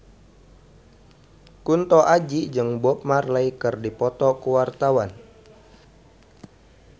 Kunto Aji jeung Bob Marley keur dipoto ku wartawan